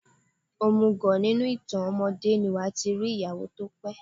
Òmùgọ̀, nínú ìtàn ọmọdé ni wàá ti rí ìyàwó tó pé.